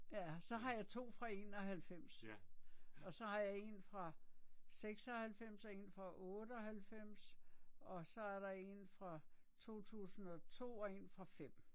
Ja, så har jeg 2 fra 91. Og så har jeg en fra 96 og en fra 98 og så er der en fra 2002 og en fra 5